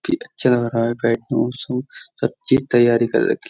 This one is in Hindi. भी अच्छा लग रहा है बैठ तैयारी कर रखी.